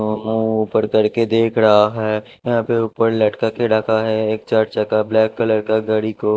दोनों ऊपर करके देख रहा है यहां पे ऊपर लटका के रखा है एक चार चक्का ब्लैक कलर का गाड़ी को--